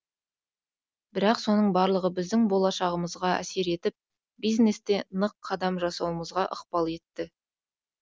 бірақ соның барлығы біздің болашағымызға әсер етіп бизнесте нық қадам жасауымызға ықпал етті